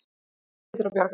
Æ, það hlýtur að bjargast.